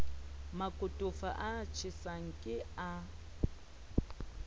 makotofa a tjhesang ke a